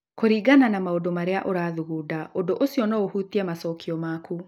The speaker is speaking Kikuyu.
kũringana na maũndũ marĩa ũrathugunda, ũndũ ũcio no ũhutie macokio maku